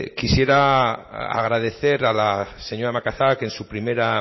quisiera agradecer a la señora macazaga que en su primera